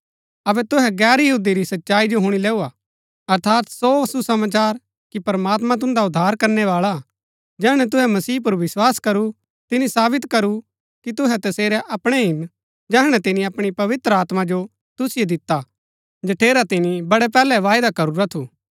अबै तुहै गैर यहूदी भी सच्चाई जो हुणी लैऊ हा अर्थात सो सुसमाचार कि प्रमात्मां तुन्दा उद्धार करणै बाळा हा जैहणै तुहै मसीह पुर विस्वास करू तिनी सावित करू कि तुहै तसेरै अपणै हिन जैहणै तिनी अपणी पवित्र आत्मा जो तुसिओ दिता जठेरा तिनी बडै पैहलै वायदा करूरा थू